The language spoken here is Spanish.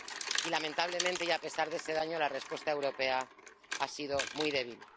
Y, lamentablemente y a pesar de ese daño, la respuesta europea ha sido muy débil.